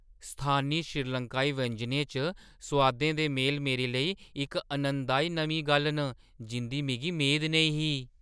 स्थानी श्रीलंकाई व्यंजनें च सोआदें दे मेल मेरे लेई इक आनंददाई नमीं गल्ल न जिंʼदी मिगी मेद नेईं ही।